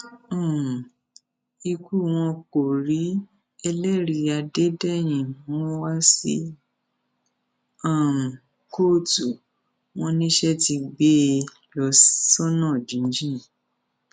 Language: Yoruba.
um ikú wọn kò rí ẹlẹrìí adédèyìn mú wa sí um kóòtù wọn níṣẹ ti gbé e lọ sọnà jínjìn